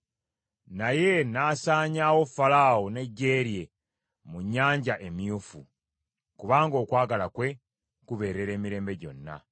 Naye n’asaanyaawo Falaawo n’eggye lye mu Nnyanja Emyufu; kubanga okwagala kwe kubeerera emirembe gyonna.